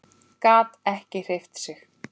Gat ekki hreyft sig.